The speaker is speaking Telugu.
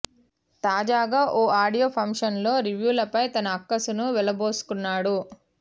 తాజాగా ఓ ఆడియో పంక్షన్ లో రివ్యూలపై తన అక్కసును వెళ్ళబోసుకున్నాడు